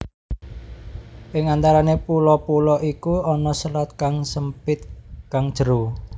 Ing antarane pulo pulo iku ana selat kang sempit kang jero